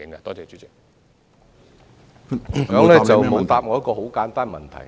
局長沒有答覆我一個簡單的問題。